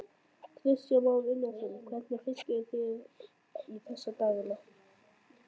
Kristján Már Unnarsson: Hvernig fisk eruð þið í þessa dagana?